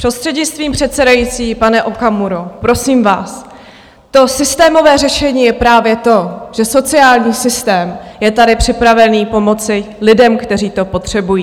Prostřednictvím předsedající, pane Okamuro, prosím vás, to systémové řešení je právě to, že sociální systém je tady připravený pomoci lidem, kteří to potřebují.